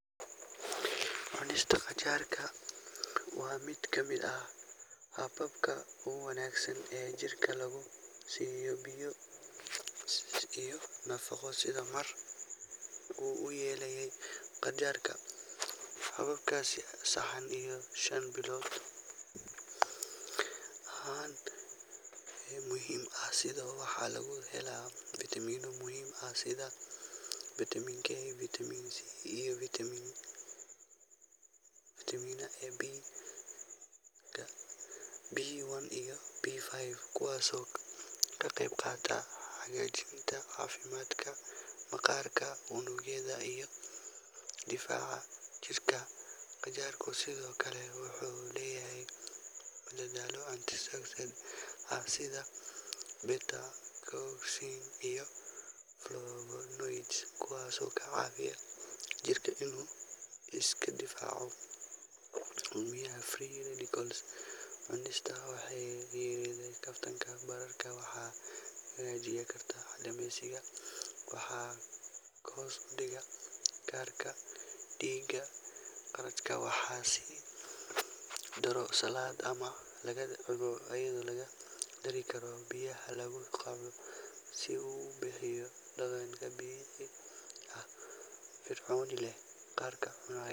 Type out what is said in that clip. Cunista qajaarka waa mid ka mid ah hababka wanaagsan ee jirka lagu siiyo biyo iyo nafaqo sida mar uu yelaayey qajaarka haababkas sahaan iyo shan bilood ahaan muhim ah sida waxa lugu helaa vitamin no muhim ah sida vitamin k , vitamin c iyo vitamin na Ab ga ,B1 iyo B5 kuwaas oo ka qeb qataa hagajinta cafimatka, maqarka unug Yada iyo difaca jirkaa. Qajaarka sido kale wuxu leyahay dadhaalo antiseptic aah sida petacousin iyo flogonoids kuwas oo ka cawiya jirka iska difaco umuhiya free radicals cunista qaxay yele kaftan bararka waxa hagajiya karta calemiyska waxa kahosdiga karka digaa qaladka waxasi daro salada ama laga daro kale biyaha si u ubihiyo dadanka biyaha aha fircooni eha karka cunaayi.